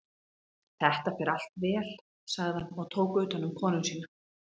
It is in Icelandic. Þetta fer allt vel, sagði hann og tók utanum konu sína.